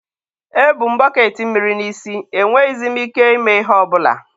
e bu m bọketị mmiri n'isi, e nweghịzi m ike ime ihe ọbụla.